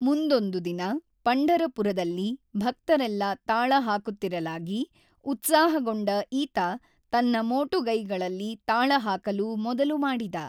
ಮುಂದೊಂದು ದಿನ ಪಂಢರಪುರದಲ್ಲಿ ಭಕ್ತರೆಲ್ಲ ತಾಳ ಹಾಕುತ್ತಿರಲಾಗಿ ಉತ್ಸಾಹಗೊಂಡ ಈತ ತನ್ನ ಮೋಟುಗೈಗಳಲ್ಲಿ ತಾಳಹಾಕಲು ಮೊದಲುಮಾಡಿದ.